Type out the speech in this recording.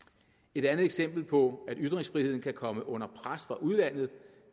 et andet eksempel på at ytringsfriheden kan komme under pres fra udlandet